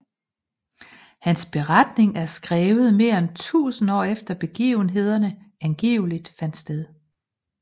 Hans beretning er skrevet mere end 1000 år efter begivenhederne angiveligt fandt sted